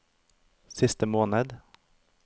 siste måned